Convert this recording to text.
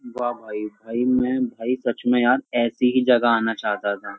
वाह भाई भाई मैं भाई सच में यार ऐसी ही जगह आना चाहता था।